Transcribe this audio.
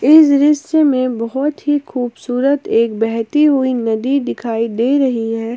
इस दृश्य में बहोत ही खूबसूरत एक बहती हुई नदी दिखाई दे रही है।